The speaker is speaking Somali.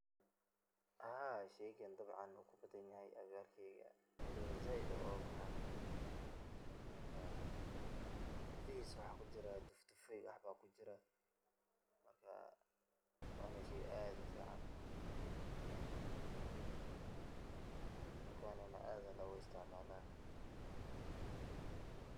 Haa sheygan dabcan wu kubadanyaxayn agagarkeyga, waluba zaid ayu ogabaxa, marka qudixisa waxa kujira duf dufaa iyo wax ba kujira, marka wana sheey aad ufican, pause dulkana aad aya logaisticmala.